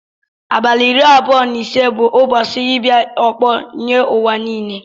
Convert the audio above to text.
Abali iri abụọ na isi bu ụbọsi ibia ọkpọ nye uwa nile.